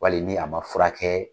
Wali ni a ma furakɛ